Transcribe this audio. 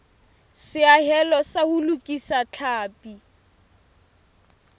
seahelo sa ho lokisa tlhapi